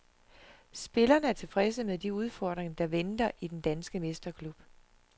Spillerne er tilfredse med de udfordringer, der venter i den danske mesterklub.